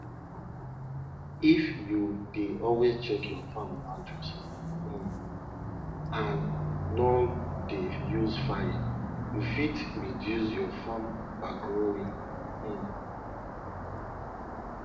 garlic you go plant the sharp head go up and give am space of four of four fingers between each one of dem